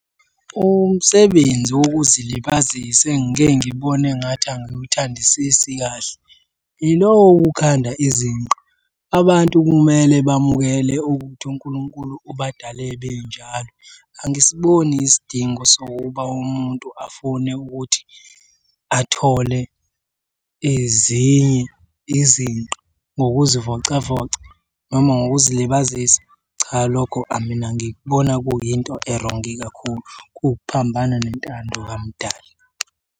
Umsebenzi wokuzilibazisa engike ngibone engathi angiwuthandisisi kahle yilowo wokukhanda izinqa. Abantu kumele bamukele ukuthi uNkulunkulu ubadale benjalo. Angisiboni isidingo sokuba umuntu afune ukuthi athole ezinye izinqa ngokuzivocavoca noma ngokuzilibazisa, cha lokho mina ngikubona kuyinto erongi kakhulu. Kuphambana nentando kamdali.